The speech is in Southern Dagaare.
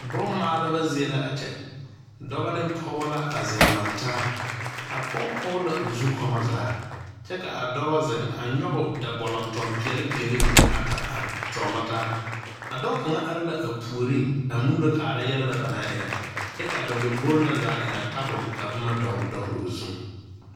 Bun maaleba zeɛ la a kye dɔba ne pɔgba la a zeng langtaa a poɔ pɔg la ɔ zukomo zaa kye ka a dɔba zeng a nyuge da bolunton peɛle peɛle mene ata a tuolo ta a doɔ kanga arẽ la poɔring a muulo kaaraa yele na ba nang ire kye ka ba lɔmbori na zaa e nga tabol ka buma dɔgli dɔgli ɔ zung.